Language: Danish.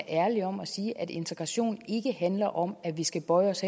ærlige om at sige at integrationen ikke handler om at vi skal bøje os